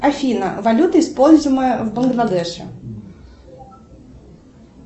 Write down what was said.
афина валюта используемая в бангладеше